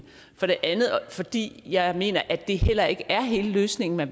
for det andet fordi jeg mener at det heller ikke er hele løsningen da